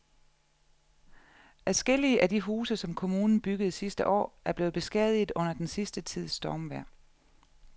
Adskillige af de huse, som kommunen byggede sidste år, er blevet beskadiget under den sidste tids stormvejr.